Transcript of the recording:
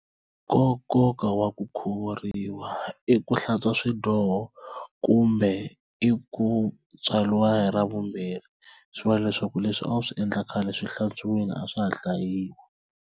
Nkoka wa ku khuvuriwa i ku hlantswa swidyoho kumbe i ku tswariwa hi ra vumbirhi swi va leswaku leswi a wu swi endla khale swi hlantswiwile a swa ha hlayiwi.